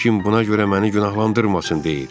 Heç kim buna görə məni günahlandırmasın deyir.